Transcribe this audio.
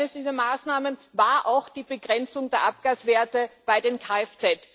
Eines dieser Maßnahmen war auch die Begrenzung der Abgaswerte bei den KFZ.